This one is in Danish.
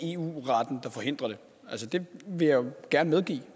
det vil jeg gerne medgive